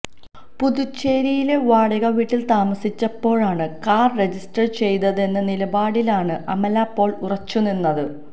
പുതുച്ചേരിയിലെ വാടക വീട്ടിൽ താമസിച്ചപ്പോഴാണ് കാർ രജിസ്റ്റർ ചെയ്തതെന്ന നിലപാടിലാണ് അമല പോൾ ഉറച്ചു നിന്നത്